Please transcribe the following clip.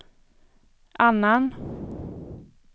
annan